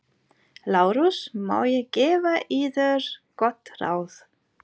LÁRUS: Má ég gefa yður gott ráð?